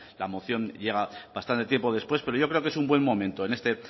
la moción llega bastante tiempo después pero yo creo que es un buen momento en este